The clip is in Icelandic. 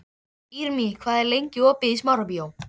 Irmý, hvað er lengi opið í Smárabíói?